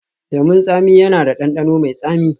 Lemun tsami yana da ɗanɗano mai tsami